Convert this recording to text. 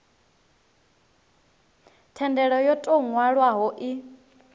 thendelo yo tou nwalwaho i